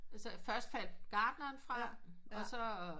Så først faldt gardneren fra og så